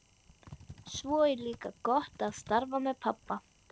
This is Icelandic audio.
Svo er líka gott að starfa með pabba.